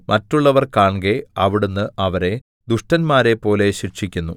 മറ്റുള്ളവർ കാൺകെ അവിടുന്ന് അവരെ ദുഷ്ടന്മാരെപ്പോലെ ശിക്ഷിക്കുന്നു